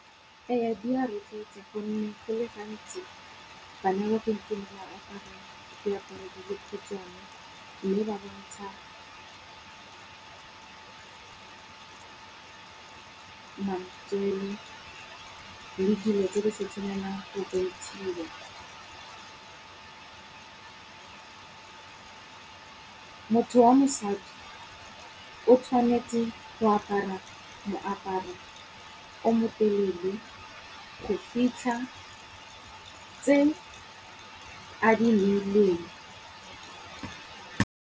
Eya di a rotloetsa gonne go le gantsi bana ba gompieno ba apara diaparo di khutshwane, mme ba bontsha matswele le dilo tse di sa tshwanelang go bontshiwa. Motho wa mosadi o tshwanetse go apara moaparo o motelele go fitlha tse a di